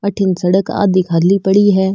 अठीन सड़क आधी खाली पड़ी है।